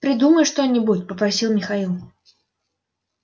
придумай что-нибудь попросил михаил